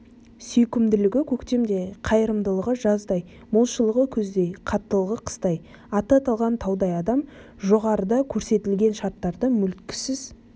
сүйкімділігі көктемдей қайырымдылығы жаздай молшылығы күздей қаттылығы қыстай аты аталған таудай адам жоғарыда көрсетілген шарттарды мүлтіксіз